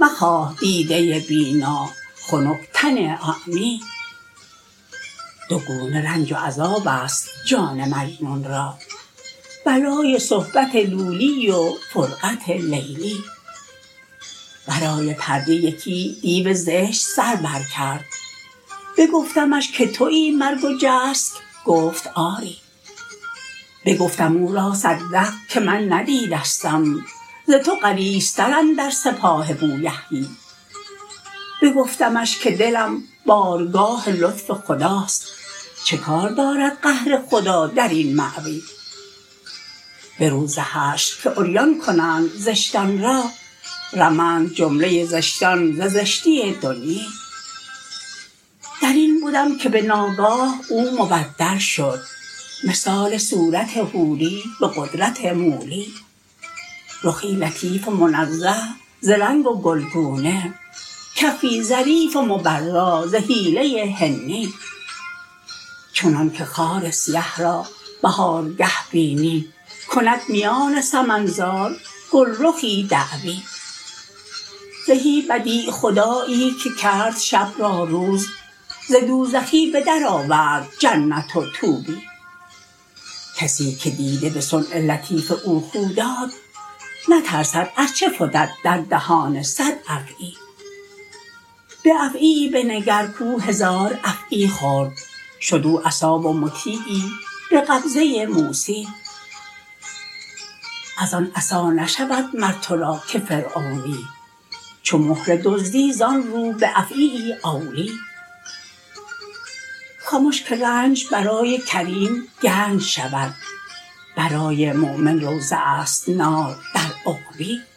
مخواه دیده بینا خنک تن اعمی دو گونه رنج و عذابست جان مجنون را بلای صحبت لولی و فرقت لیلی ورای پرده یکی دیو زشت سر برکرد بگفتمش که توی مرگ و جسک گفت آری بگفتم او را صدق که من ندیدستم ز تو غلیظتر اندر سپاه بویحیی بگفتمش که دلم بارگاه لطف خداست چه کار دارد قهر خدا در این مأوی به روز حشر که عریان کنند زشتان را رمند جمله زشتان ز زشتی دنیی در این بدم که به ناگاه او مبدل شد مثال صورت حوری به قدرت مولی رخی لطیف و منزه ز رنگ و گلگونه کفی ظریف و مبرا ز حیله حنی چنانک خار سیه را بهارگه بینی کند میان سمن زار گلرخی دعوی زهی بدیع خدایی که کرد شب را روز ز دوزخی به درآورد جنت و طوبی کسی که دیده به صنع لطیف او خو داد نترسد ار چه فتد در دهان صد افعی به افعیی بنگر کو هزار افعی خورد شد او عصا و مطیعی به قبضه موسی از آن عصا نشود مر تو را که فرعونی چو مهره دزدی زان رو به افعیی اولی خمش که رنج برای کریم گنج شود برای مؤمن روضه ست نار در عقبی